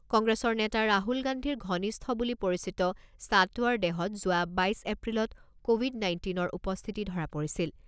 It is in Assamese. কংগ্ৰেছৰ নেতা ৰাহুল গান্ধীৰ ঘনিষ্ঠ বুলি পৰিচিত সাটৱৰ দেহত যোৱা বাইছ এপ্ৰিলত ক’ভিড নাইণ্টিনৰ উপস্থিতি ধৰা পৰিছিল।